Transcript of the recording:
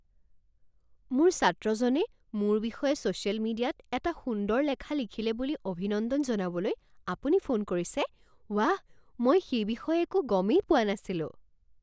মোৰ ছাত্ৰজনে মোৰ বিষয়ে ছ'চিয়েল মিডিয়াত এটা সুন্দৰ লেখা লিখিলে বুলি অভিনন্দন জনাবলৈ আপুনি ফোন কৰিছে? ৱাহ, মই সেই বিষয়ে একো গমেই পোৱা নাছিলো